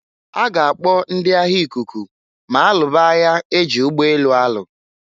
A ga-akpọ ndị agha ikuku ma alụba aya e ji ụgbọ elu alụ.